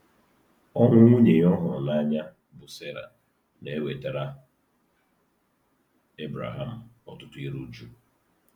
Ọnwụ nwunye ya ọ hụrụ n’anya, bụ́ Sera, na-ewetara Ebreham ọtụtụ iru uju.